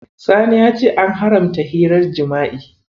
Sani ya ce an haramta hirar jima'i.